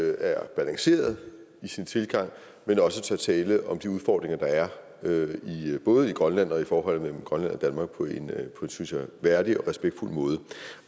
er balanceret i sin tilgang men også tør tale om de udfordringer der er både i grønland og i forholdet mellem grønland og danmark på en synes jeg værdig og respektfuld måde